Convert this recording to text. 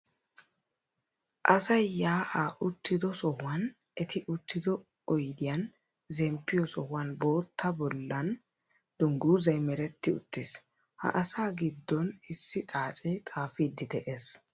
Asayi yaa'aa uttido sohuwan eti uttido oyidiyan zemppiyoo sohuwan boottaa bollan dungguzzay meretti uttiis. Ha asaa giddon issi xaacee xaafiiddi de'es.